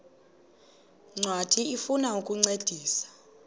ncwadi ifuna ukukuncedisa